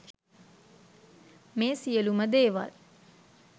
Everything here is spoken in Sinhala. මේ සියලුම දේවල්